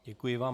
Děkuji vám.